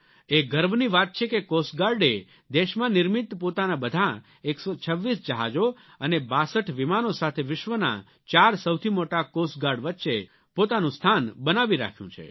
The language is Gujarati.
એ ગર્વની વાત છે કે કોસ્ટ ગાર્ડે દેશમાં નિર્મિત પોતાના બધાં 126 જહાજો અને 62 વિમાનો સાથે વિશ્વનાં ચાર સૌથી મોટા કોસ્ટ ગાર્ડ વચ્ચે પોતાનું સ્થાન બનાવી રાખ્યું છે